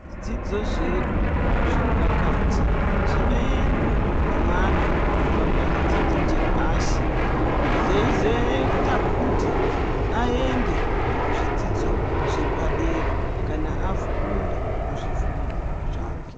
Zvidzidzo zvedu zvepakati, zvinoendwa nemwana wabva pachidzidzo chepashi, zveizoita kuti aende kuzvidzidzo zvepadera kana akunda muzvifundo zvake.